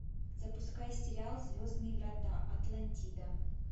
запускай сериал звездные врата атлантида